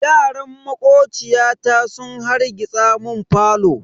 Yaran makociyata sun harrgitsa mun falo.